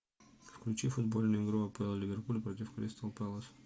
включи футбольную игру апл ливерпуль против кристал пэлас